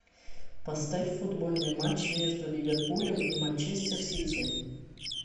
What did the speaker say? поставь футбольный матч между ливерпулем и манчестер сити